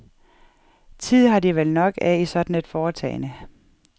Tid har de vel nok af i sådan et foretagende?